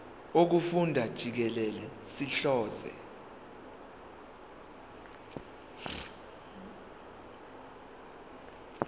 wokufunda jikelele sihlose